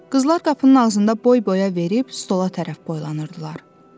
Qızlar qapının ağzında boy-boya verib stola tərəf boylanırdılar.